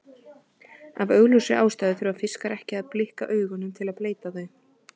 Af augljósri ástæðu þurfa fiskar ekki að blikka augunum til að bleyta þau.